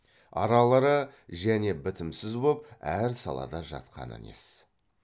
аралары және бітімсіз боп әр салада жатқаны нес